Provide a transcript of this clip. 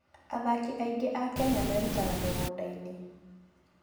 Athaki aingĩ a Kenya merutaga mĩgũnda-inĩ.